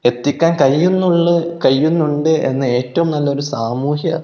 എത്തിക്കാൻ കഴിയുന്നുള്ളു കഴിയുന്നുണ്ട് എന്ന് ഏറ്റവും നല്ലൊരു സാമൂഹ്യ--